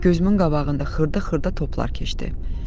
Gözümün qabağında xırda-xırda toplar keçdi.